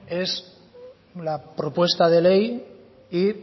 es la propuesta de ley y